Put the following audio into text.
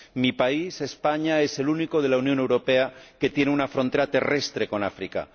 Mi país, España, es el único de la Unión Europea que tiene una frontera terrestre con África.